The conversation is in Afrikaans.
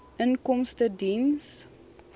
inkomstediens